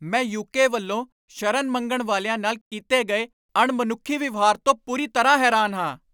ਮੈਂ ਯੂਕੇ ਵੱਲੋਂ ਸ਼ਰਨ ਮੰਗਣ ਵਾਲਿਆਂ ਨਾਲ ਕੀਤੇ ਗਏ ਅਣਮਨੁੱਖੀ ਵਿਵਹਾਰ ਤੋਂ ਪੂਰੀ ਤਰ੍ਹਾਂ ਹੈਰਾਨ ਹਾਂ।